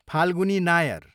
Falguni Nair